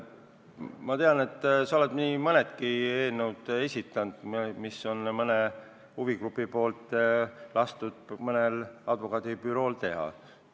Ma tean, et sa oled nii mõnedki eelnõud esitanud, mis on mõne huvigrupi poolt lastud mõnel advokaadibürool teha.